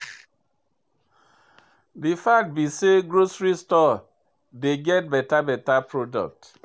De fact be say grocery store dey get better better product.